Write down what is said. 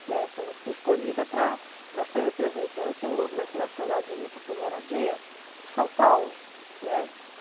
Né, por exemplo, fui escolhida para para ser a representante no Movimento Nacional de Luta por Moradia, por São Paulo, né.